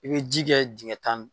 I bɛ ji kɛ dingɛ tan